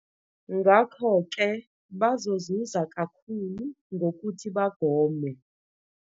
Ngakho-ke bazozuza kakhulu ngokuthi bagome.